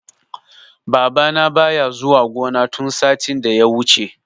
Babana baya zuwa gona tun satin da ya wuce.